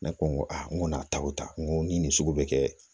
Ne ko n ko aa n ko n'a taw ta n ko ni nin sugu bɛ kɛ